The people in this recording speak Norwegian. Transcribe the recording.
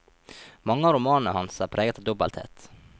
Mange av romanene hans er preget av dobbelthet.